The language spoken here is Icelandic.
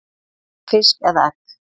fisk eða egg.